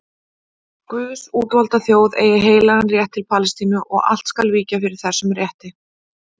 Guðs útvalda þjóð eigi heilagan rétt til Palestínu og allt skal víkja fyrir þessum rétti.